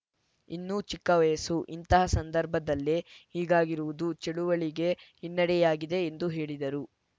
ಇನ್ನು ಚಿಕ್ಕ ವಯಸ್ಸು ಇಂತಹ ಸಂದರ್ಭದಲ್ಲೇ ಹೀಗಾಗಿರುವುದು ಚಳವಳಿಗೆ ಹಿನ್ನಡೆಯಾಗಿದೆ ಎಂದು ಹೇಳಿದರು